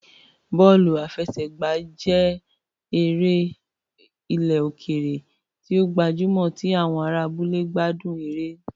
Bọ́ọ̀lù àfẹsẹ̀gbá jẹ́ eré ilẹ̀ òkèèrè tí ó gbajúmọ̀ tí àwọn ará abúlé gbádùn eré